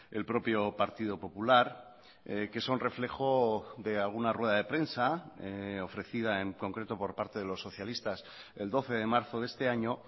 el propio partido popular que son reflejo de alguna rueda de prensa ofrecida en concreto por parte de los socialistas el doce de marzo de este año